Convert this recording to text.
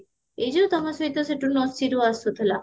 ଏଇ ଯୋଉ ତମ ସହିତ ସେଇଠୁ ନସିରୁ ଆସୁଥିଲା